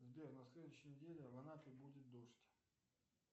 сбер на следующей неделе в анапе будет дождь